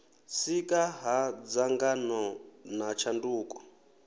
sika ha dzangano na tshanduko